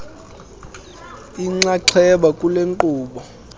inxaxheba kule nkqubo